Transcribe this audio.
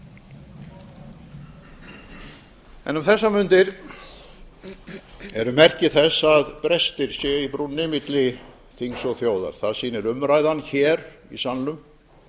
en um þessar mundir eru merki þess að brestir séu í brúnni milli þings og þjóðar það sýnir umræðan hér í salnum